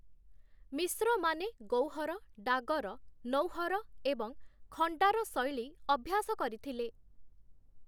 ମିଶ୍ରମାନେ ଗୌହର, ଡାଗର, ନୌହର ଏବଂ ଖଣ୍ଡାର ଶୈଳୀ ଅଭ୍ୟାସ କରିଥିଲେ ।